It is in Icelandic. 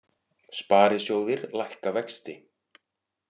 Sparisjóðir lækka vexti